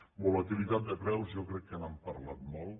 de volatilitat de preus jo crec que n’han parlat molt